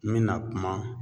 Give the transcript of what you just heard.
N mina kuma